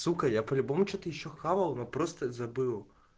сука я по-любому что-то ещё хавал но просто забыл